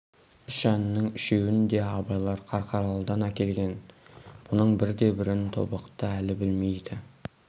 үш әннің үшеуін де абайлар қарқаралыдан әкелген бұның бірде-бірін тобықты әлі білмейді